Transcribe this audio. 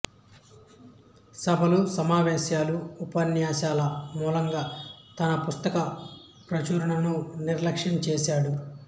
సభలుసమావేశాలు ఉపన్యాసాల మూలంగా తన పుస్తక ప్రచురణను నిర్లక్ష్యం చేసాడు